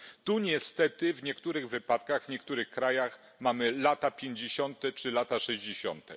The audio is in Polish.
Tu niestety w niektórych wypadkach w niektórych krajach mamy lata pięćdziesiąte czy lata sześćdziesiąte.